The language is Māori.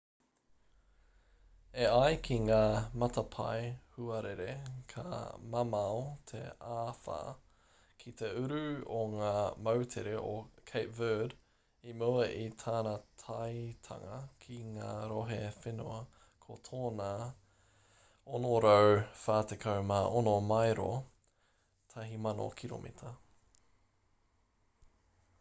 e ai ki ngā matapae huarere ka mamao te āwha kei te uru o ngā moutere o cape verde i mua i tana taetanga ki ngā rohe whenua ko tōna 646 maero 1,000 kiromita,